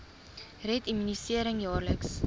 red immunisering jaarliks